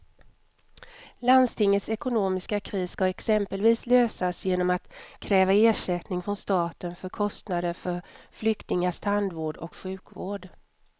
Landstingets ekonomiska kris ska exempelvis lösas genom att kräva ersättning från staten för kostnader för flyktingars tandvård och sjukvård.